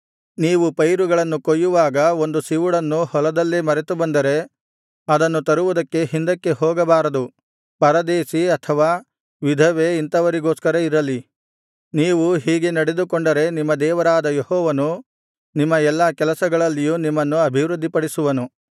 ನೀವು ಪೈರುಗಳನ್ನು ಕೊಯ್ಯುವಾಗ ಒಂದು ಸಿವುಡನ್ನು ಹೊಲದಲ್ಲೇ ಮರೆತುಬಂದರೆ ಅದನ್ನು ತರುವುದಕ್ಕೆ ಹಿಂದಕ್ಕೆ ಹೋಗಬಾರದು ಪರದೇಶಿ ಅನಾಥ ವಿಧವೆ ಇಂಥವರಿಗೋಸ್ಕರ ಇರಲಿ ನೀವು ಹೀಗೆ ನಡೆದುಕೊಂಡರೆ ನಿಮ್ಮ ದೇವರಾದ ಯೆಹೋವನು ನಿಮ್ಮ ಎಲ್ಲಾ ಕೆಲಸಗಳಲ್ಲಿಯೂ ನಿಮ್ಮನ್ನು ಅಭಿವೃದ್ಧಿಪಡಿಸುವನು